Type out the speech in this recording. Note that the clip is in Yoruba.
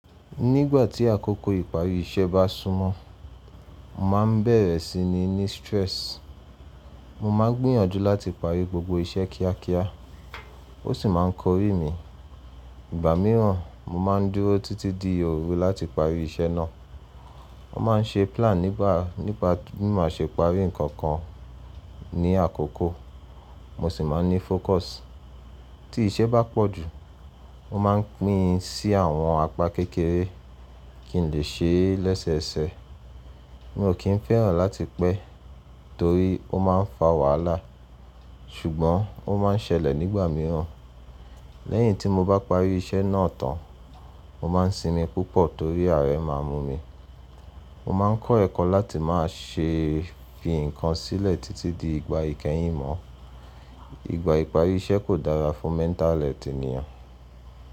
Nígbà tí àkókò ìparí iṣẹ́ bá súnmọ́, mo máa ń bẹ̀rẹ̀ sí ní ní stress. Mo máa ń gbìyànjú láti parí gbogbo iṣẹ́ kíákíá, ó sì máa ń kọrí mi. Ìgbà mìíràn, mo máa ń dúró títí di òru láti parí iṣẹ́ náà. Mo máa ń ṣe plan nípa, nípa bí mo ṣe parí nǹkan kan ní àkókò, mo sì máa ń ní focus. Tí iṣẹ́ bá pọ̀ jù, mo máa ń pín sí àwọn apa kékeré kí n lè ṣe é lẹ́sẹẹsẹ. Mi ò kí ń fẹ́ràn láti pẹ́ torí ó máa ń fa wàhálà, ṣùgbọ́n ó máa ń ṣẹlẹ̀ nígbà mìíràn. Lẹ́yìn tí mo bá parí iṣẹ́ náà tán, mo má ń sinmi púpọ̀ torí àárẹ̀ máa ń mu mi. Mo má ń kọ́ ẹ̀kọ́ láti máa ṣe fi nǹkan sílẹ̀ títí di ìgbà ìkẹyìn mọ́. Ìgbà ìparí iṣẹ́ kò dára fún mental health ènìyàn.